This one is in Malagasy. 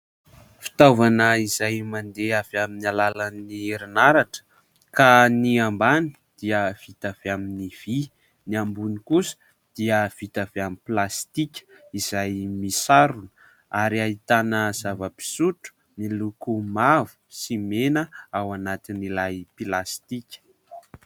Fitaovana izay mandeha avy amin'ny alalan'ny erinaratra, ka ny ambany dia vita avy amin'ny vỳ, ny ambony kosa dia vita avy amin'ny plastika izay misarona ary ahitana zava-pisotro miloko mavo sy mena ao anatin'ilay plasitika.